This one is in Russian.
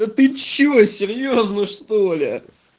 да ты что серьёзно что ли